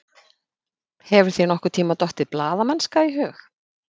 Hefur þér nokkurntíma dottið blaðamennska í hug?